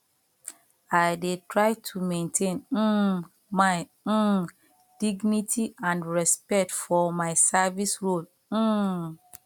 i dey try to maintain um my um dignity and respect for my service role um